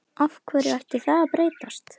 Af hverju ætti það að breytast?